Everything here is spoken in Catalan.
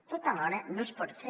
tot alhora no es pot fer